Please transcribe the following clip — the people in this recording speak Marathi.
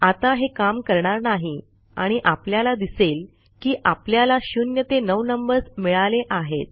आता हे काम करणार नाही आणि आपल्याला दिसेल की आपल्याला 0 ते 9 नंबर्स मिळाले आहेत